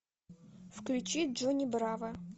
включи джонни браво